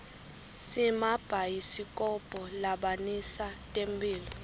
simabhayisikobho labonisa temphilo